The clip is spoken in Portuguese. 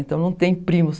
Então, não tem primos.